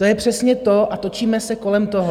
To je přesně to a točíme se kolem toho.